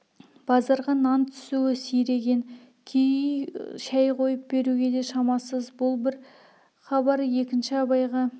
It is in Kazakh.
базарға нан түсуі сиреген кей үй шай қойып беруге де шамасыз бұл бір хабар екінші абайға